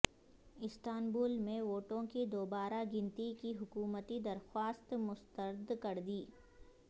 Istanbul میں ووٹوں کی دوبارہ گنتی کی حکومتی درخواست مسترد کردی